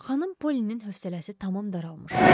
Xanım Polinin hövsələsi tamam daralmışdı.